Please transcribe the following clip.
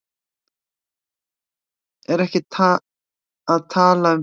Ertu ekki að tala um fyrsta markið?